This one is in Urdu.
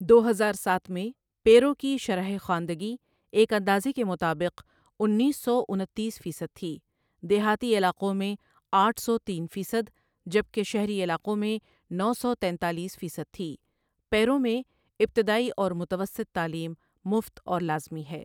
دو ہزار ساتھ میں پیرو کی شرح خواندگی ایک اندازے کے مطابق انیس سو انتیس فیصد تھی دیہاتی علاقوں میں آٹھ سو تین فیصد جبکہ شہری علاقوں میں نو سو تینتالیس فیصد تھی پیرو میں ابتدائی اور متوسط تعلیم مفت اور لازمی ہے۔